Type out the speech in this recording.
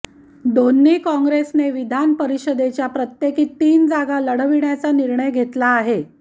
दोन्ही कॉंग्रेसने विधान परिषदेच्या प्रत्येकी तीन जागा लढविण्याचा निर्णय घेतला आहे